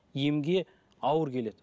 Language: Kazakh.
емге ауыр келеді